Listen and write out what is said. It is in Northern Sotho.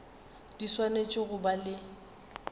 di swanetše go ba le